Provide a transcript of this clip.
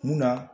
Munna